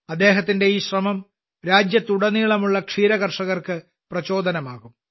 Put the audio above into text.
അദ്ദേഹത്തിന്റെ ഈ ശ്രമം രാജ്യത്തുടനീളമുള്ള ക്ഷീരകർഷകർക്ക് പ്രചോദനമാകും